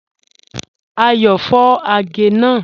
Ayọ́ fọ̀ àgẹ̀ náà.